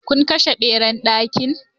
Kun kashe Ɓeran ɗaki?